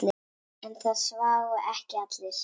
En það sváfu ekki allir.